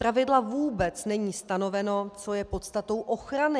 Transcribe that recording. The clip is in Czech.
Zpravidla vůbec není stanoveno, co je podstatou ochrany.